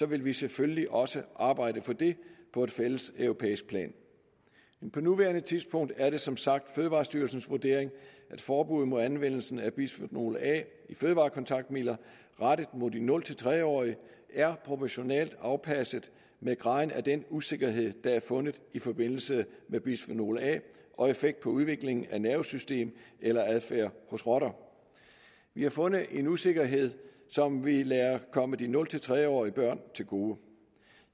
vil vi selvfølgelig også arbejde på det på et fælles europæisk plan på nuværende tidspunkt er det som sagt fødevarestyrelsens vurdering at forbuddet mod anvendelsen af bisfenol a i fødevarekontaktmidler rettet mod de nul tre årige er proportionalt afpasset med graden af den usikkerhed der er fundet i forbindelse med bisfenol a og effekt på udviklingen af nervesystem eller adfærd hos rotter vi har fundet en usikkerhed som vi lader komme de nul tre årige børn til gode